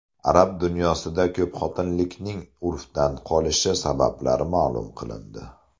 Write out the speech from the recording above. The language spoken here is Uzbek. Arab dunyosida ko‘pxotinlilikning urfdan qolishi sabablari ma’lum qilindi.